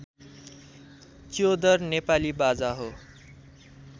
च्योदर नेपाली बाजा हो